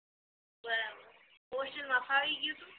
બરાબર હોસ્ટેલ માં ફાવી ગ્યું તું